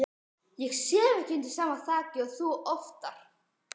Ég sef ekki undir sama þaki og þú oftar.